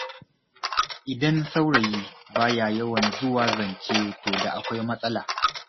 Idan saurayi ba ya yawan zuwa zance to da akwai matsala.